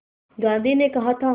गांधी ने कहा था